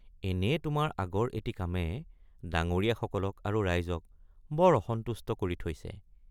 এনেয়ে তোমাৰ আগৰ এটি কামে ডাঙৰীয়াসকলক আৰু ৰাইজক বৰ অসন্তুষ্ট কৰি থৈছে।